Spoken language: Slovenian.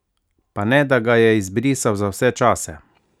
Pa ne, da ga je izbrisal za vse čase?